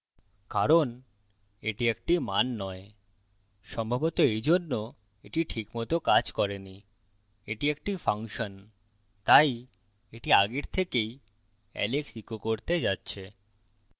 কারণ the একটি মান নয় সম্ভবত এই জন্যে the ঠিক মত কাজ করেনি the একটি ফাংশন তাই the আগের থেকেই alex echo করতে যাচ্ছে